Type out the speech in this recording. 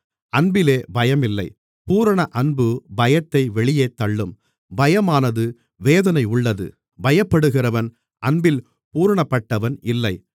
அன்பிலே பயமில்லை பூரண அன்பு பயத்தை வெளியே தள்ளும் பயமானது வேதனையுள்ளது பயப்படுகிறவன் அன்பில் பூரணப்பட்டவன் இல்லை